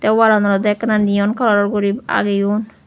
tey wall an olodey ekka neon colour guri ageyun.